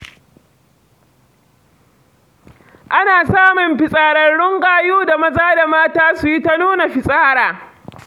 Ana samun fetsararrun gayu da maza da mata su yi ta nuna fitsara.